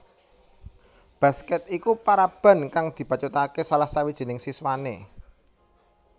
Basket iku paraban kang dibacutake salah sawijining siswane